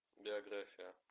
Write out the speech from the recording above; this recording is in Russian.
биография